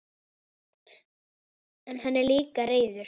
En hann er líka reiður.